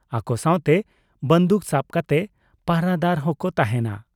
ᱟᱠᱚ ᱥᱟᱶᱛᱮ ᱵᱟᱺᱫᱩᱠ ᱥᱟᱵ ᱠᱟᱛᱮ ᱯᱟᱦᱨᱟᱫᱟᱨ ᱦᱚᱸ ᱠᱚ ᱛᱟᱦᱮᱸᱱᱟ ᱾